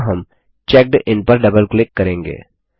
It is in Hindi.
यहाँ हम चेकिन पर डबल क्लिक करेंगे